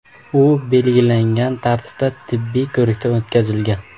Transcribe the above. U belgilangan tartibda tibbiy ko‘rikdan o‘tkazilgan.